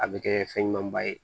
A bɛ kɛ fɛn ɲumanba ye